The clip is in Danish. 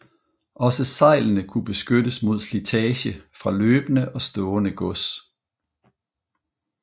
Også sejlene kunne beskyttes mod slitage fra løbende og stående gods